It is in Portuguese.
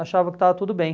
Achava que estava tudo bem.